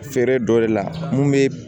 Feere dɔ de la mun bɛ